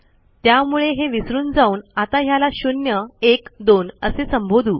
त्यामुळे हे विसरून जाऊन आता ह्याला शून्य एक दोन असे संबोधू